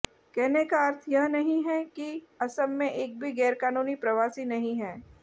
कहने का अर्थ यह नहीं है कि असम में एक भी गैरकानूनी प्रवासी नहीं है